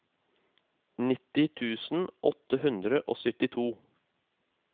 nitti tusen åtte hundre og syttito